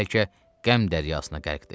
Bəlkə qəm dəryasına qərqdi.